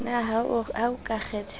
na ha o ka kgethelwa